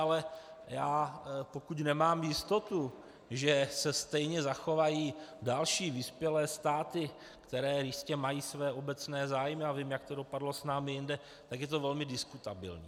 Ale já, pokud nemám jistotu, že se stejně zachovají další vyspělé státy, které jistě mají své obecné zájmy, a vím, jak to dopadlo s námi jinde, tak je to velmi diskutabilní.